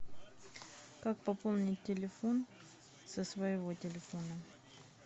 как пополнить телефон со своего телефона